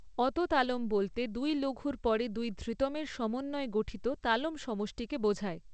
অত তালম বলতে দুই লঘুর পরে দুই ধৃতমের সমন্বয়ে গঠিত তালম সমষ্টিকে বোঝায়।